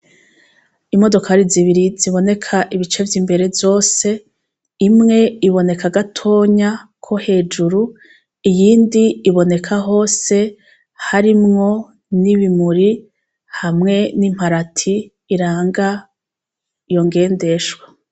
Imodokari zibiri ziboneka ibice vy'imbere zose, imwe iboneka gatonya ko hejuru, iyindi iboneka hose harimwo n'ibimuri hamwe n'imparati iranga iyo ngendeshwa.